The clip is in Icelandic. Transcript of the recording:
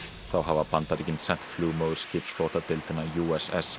þá hafa Bandaríkin sent flugmóðurskipsflotadeildina